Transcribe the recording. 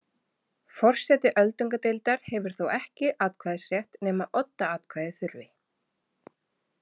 Forseti öldungadeildar hefur þó ekki atkvæðisrétt nema oddaatkvæði þurfi.